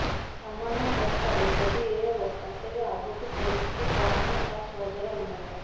ସାମାନ୍ୟ ବର୍ଷାରେ ଯଦି ଏ ଅବସ୍ଥା ତେବେ ଆଗକୁ ପରିସ୍ଥିତି କଣ ହେବ ତାହା ସହଜରେ ଅନୁମେୟ